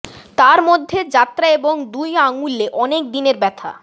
তার মধ্যে যাত্রা এবং দুই আঙুলে অনেক দিনের ব্যথা